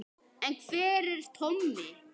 En hver er Tommi?